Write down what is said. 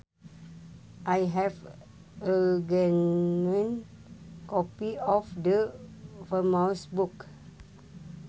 I have a genuine copy of the famous book